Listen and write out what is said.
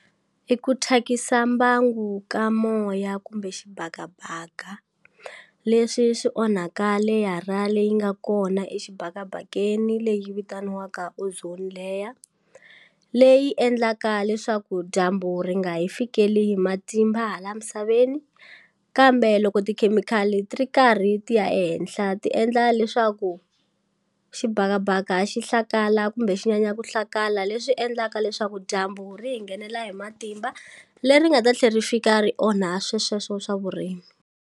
I ku thyakisa mbangu ka moya kumbe xibakabaka leswi swi onhaka leyara leyi nga kona exibakabakeni leyi vitaniwaka ozone layer leyi leyi endlaka leswaku dyambu ri nga hi fikeleli hi matimba hala misaveni kambe loko tikhemikhali ti ri karhi ti ya ehenhla ti endla leswaku xibakabaka xihlakala kumbe xi nyanya ku hlakala leswi endlaka leswaku dyambu ri hi nghenela hi matimba leri nga ta tlhe ri fika ri onha swe sweswo swa vurimi.